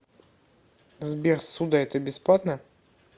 сбер ссуда это бесплатно